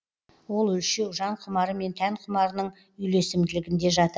ол өлшеу жан құмары мен тән құмарының үйлесімділігінде жатыр